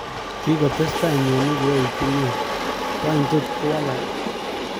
Kikoteseta mioni koyoitu nia, wanye tot kowalaki?